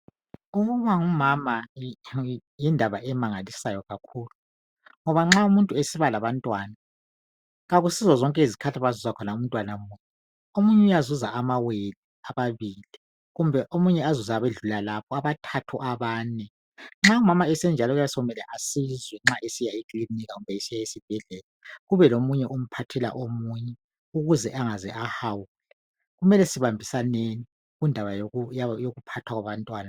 Ukuba ngumama yindaba emangalisayo kakhulu ngoba nxa umuntu esiba labantwana kakusizo zonke izikhathi angazuza khona umntwana munye. Omunye uyazuza amawele ababili kumbe omunye azuza abedlula lapho abathathu, abane. Nxa umama esenjalo kuyabe sokumele asizwe nxa esiya lekilinika kumbe nxa esiya esibhedlela kube lomunye omphathela omunye ukuze angaze ahawula .Kumele sibambisaneni kundaba yokuphathwa kwabantwana.